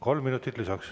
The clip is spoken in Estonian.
Kolm minutit lisaks.